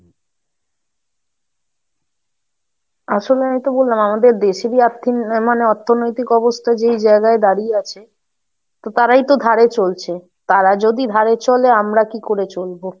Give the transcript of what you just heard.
আসলে আমি তো বললাম আমাদের দেশেরই আর্থিক মানে, অর্থনৈতিক অবস্থা যেই জায়গায় দাঁড়িয়ে আছে, তো তারাই তো ধারে চলছে, তারা যদি ধারে চলে, আমরা কি করে চলবো?